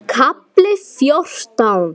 KAFLI FJÓRTÁN